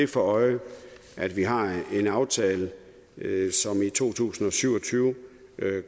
for øje at vi har en aftale som i to tusind og syv og tyve